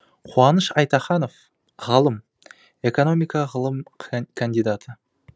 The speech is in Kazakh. қуаныш айтаханов ғалым экономика ғылым кандидаты